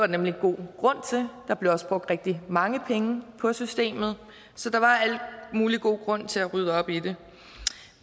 nemlig god grund til der blev også brugt rigtig mange penge på systemet så der var al mulig god grund til at rydde op i det